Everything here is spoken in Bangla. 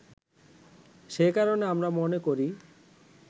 সেই কারণে আমরা মনে করি